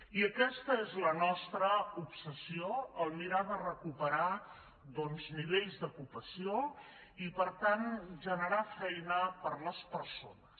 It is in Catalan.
i aquesta és la nostra obsessió mirar de recuperar nivells d’ocupació i per tant generar feina per a les persones